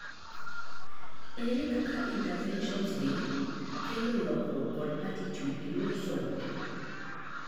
ere kaka interventions gi kelo lokruok kod attitude eyor somo?